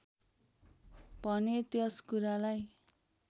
भने त्यस कुरालाई